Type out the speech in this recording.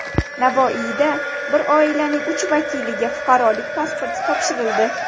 Navoiyda bir oilaning uch vakiliga fuqarolik pasporti topshirildi.